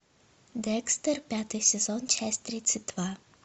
декстер пятый сезон часть тридцать два